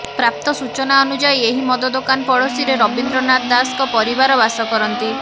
ପ୍ରାପ୍ତ ସୂଚନା ଅନୁଯାୟୀ ଏହି ମଦ ଦୋକାନ ପଡୋଶୀରେ ରବିନ୍ଦ୍ର ନାଥ ଦାସଙ୍କ ପରିବାର ବାସ କରନ୍ତି